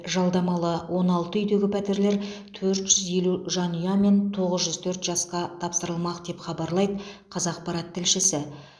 жалдамалы он алты үйдегі пәтерлер төрт жүз елу жанұя мен тоғыз жүз төрт жасқа тапсырылмақ деп хабарлайды қазақпарат тілшісі